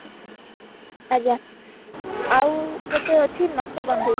ଆଜ୍ଞା ଆଉ ଗୋଟେ ଅଛି ନଶବନ୍ଧୀ